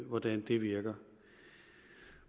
hvordan det virker